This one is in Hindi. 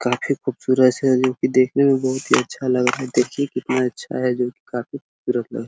काफी खूबसूरत से जो की देखने में बोहोत ही अच्छा लग रहा है देखिये कितना अच्छा है जो की काफी खूबसूरत लग रहा है ।